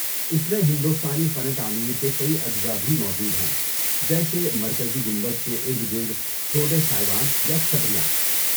اس میں ہندوستانی فن تعمیر کے کئی اجزاء بھی موجود ہیں، جیسے مرکزی گنبد کے ارد گرد چھوٹے سائبان یا چھتریاں۔